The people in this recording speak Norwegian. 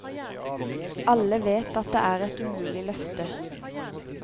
Alle vet at det er et umulig løfte.